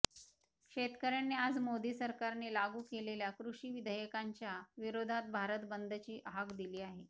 शेतकऱ्यांनी आज मोदी सरकारने लागू केलेल्या कृषि विधेयकांच्या विरोधात भारत बंदची हाक दिली आहे